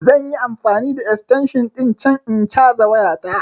Zan yi amfani da extension ɗin can in caza waya ta